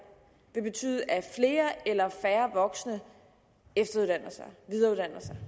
vil betyde at flere eller færre voksne efteruddanner sig videreuddanner sig